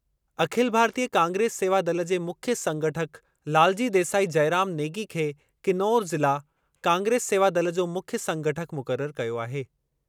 अखिल भारतीय कांग्रेस सेवा दल जे मुख्य संगठक लालजी देसाई जयराम नेगी खे किनोर ज़िला कांग्रेस सेवा दल जो मुख्य संगठक मुक़रर कयो आहे।